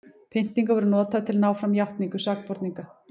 pyntingar voru notaðar til að ná fram játningum sakborninga